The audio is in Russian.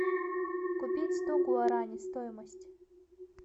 купить сто гуарани стоимость